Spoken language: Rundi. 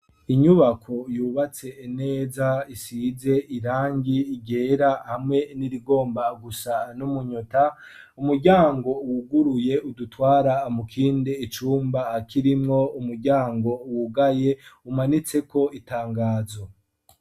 Inyubako yubatse neza isize irangi igera hamwe n'irigomba gusa n'umunyota umuryango wuguruye udutwara amukinde icumba akirimwo umuryango wugaye umanitseko itangazo.